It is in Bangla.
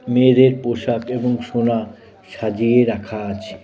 মেয়েদের পোশাক এবং সোনা সাজিয়ে রাখা আছে।